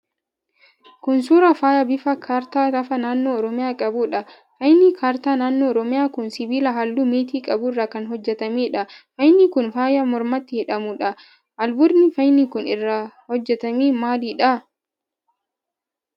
Kun, suura faayaa bifa kaartaa lafa naannoo oromiyaa qabuu dha. Faayni kaartaa naannoo oromiyaa kun, sibiila haalluu meetii qabu irraa kan hojjatamee dha. Faayni kun, faaya mormatti hidhamuu dha. Albuudni faayni kun irraa hojjatame maali dha?